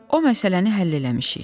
O məsələni həll eləmişik.